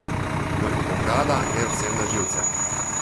Mrkobrada gre vsem na živce.